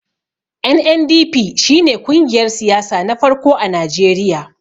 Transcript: NNDP shi ne kungiyar siyasa na farko a Najeriya.